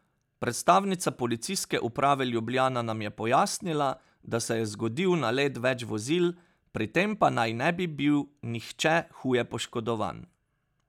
Predstavnica policijske uprave Ljubljana nam je pojasnila, da se je zgodil nalet več vozil, pri tem pa naj ne bi bil nihče huje poškodovan.